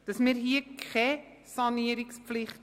Wir schaffen hier keine Sanierungspflicht.